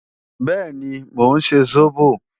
Bẹ́ẹ̀ni, mò ń ṣe sóbò